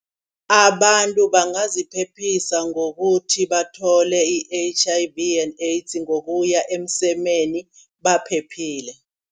Abantu bangaziphephisa ngokuthi bathole i-H_I_V and AIDS ngokuya emsemeni baphephile.